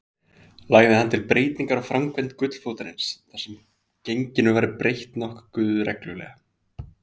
Lagði hann til breytingar á framkvæmd gullfótarins, þar sem genginu væri breytt nokkuð reglulega.